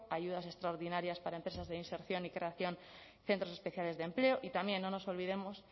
ayudas extraordinarias para empresas de inserción y creación centros especiales de empleo y también no nos olvidemos